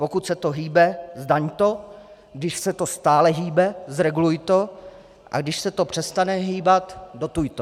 Pokud se to hýbe, zdaň to, když se to stále hýbe, zreguluj to, a když se to přestane hýbat, dotuj to.